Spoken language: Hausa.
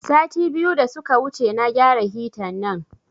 Sati biyu da suka wuce na gyara hita nan